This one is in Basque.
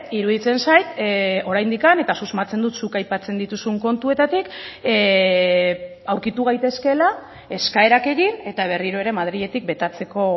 iruditzen zait oraindik eta susmatzen dut zuk aipatzen dituzun kontuetatik aurkitu gaitezkela eskaerak egin eta berriro ere madriletik betatzeko